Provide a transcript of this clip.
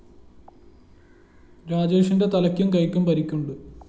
രാജേഷിന്റെ തലയ്ക്കും കൈയ്ക്കും പരിക്കുണ്ട്